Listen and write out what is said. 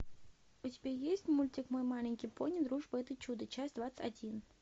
у тебя есть мультик мой маленький пони дружба это чудо часть двадцать один